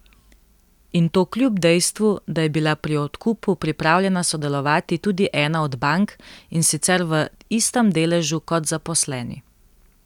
In to kljub dejstvu, da je bila pri odkupu pripravljena sodelovati tudi ena od bank, in sicer v istem deležu kot zaposleni.